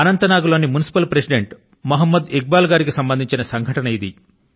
అనంతనాగ్ లోని municipal president Shri Mohammad Iqbal గారి కి సంబంధించిన సంఘటన ఇది